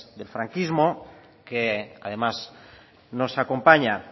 del franquismo que además nos acompaña